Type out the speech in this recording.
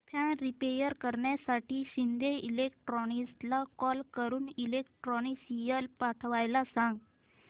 fan repair करण्यासाठी शिंदे इलेक्ट्रॉनिक्सला call करून इलेक्ट्रिशियन पाठवायला सांग